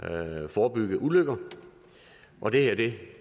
og forebygge ulykker og det er det